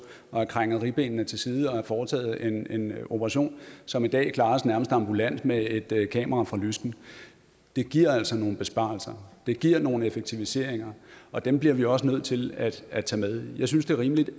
have krænget ribbenene til side og have foretaget en operation som i dag klares nærmest ambulant med et kamera fra lysken det giver altså nogle besparelser det giver nogle effektiviseringer og dem bliver vi også nødt til at at tage med jeg synes det er rimeligt